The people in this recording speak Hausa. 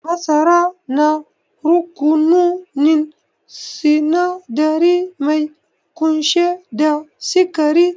Masara na rukununin sinadari mai kunshe da sikari